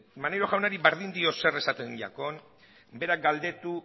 maneiro jaunari berdin dio zer esaten diakon berak galdetu